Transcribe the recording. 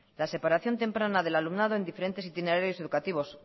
la separación temprana del alumnado en diferentes itinerarios educativos